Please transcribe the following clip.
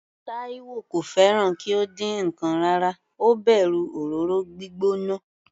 Taiwo kò fẹ́ràn kí ó dín ǹkan rárá, ó bẹ̀rù òróró gbígbóná.